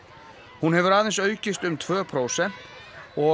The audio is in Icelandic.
hún hefur aðeins aukist um tvö prósent og